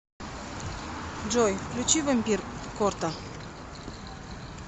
джой включи вампир сорта